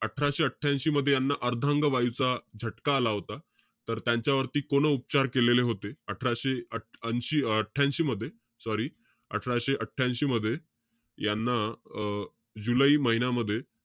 अठराशे अठ्ठयांशी मध्ये, यांना अर्धांगवायूचा झटका आला होता. तर त्यांच्यावरती पूर्ण उपचार केलेले होते. अठराशे अंशी~ अठ्ठयांशी मध्ये, sorry. अठराशे ऐशी मध्ये, यांना अं जुलै महिनामध्ये,